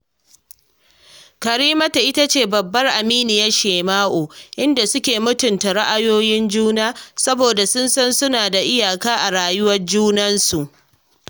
Karimatu ita ce babbar aminyar Shema’u, inda suke mutunta ra’ayoyin juna, saboda sun san suna da iyaka a rayuwar junansu